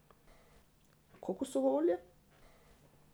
Kokosovo olje.